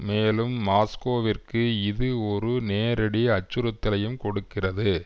மேலும் மாஸ்கோவிற்கு இது ஒரு நேரடி அச்சுறுத்தலையும் கொடுக்கிறது